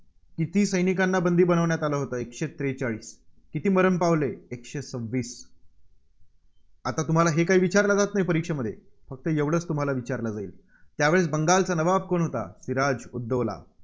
किती सैनिकांना बंदी बनवण्यात आलं होतं? एकशे त्रेचाळीस. किती मरण पावले? एकशे सव्वीस आता तुम्हाला हे काही विचारलं जात नाही परीक्षेमध्ये फक्त एवढंच तुम्हाला विचारलं जाईल, त्यावेळीस बंगालचा नवाब कोण होता? सिराज उद दौला.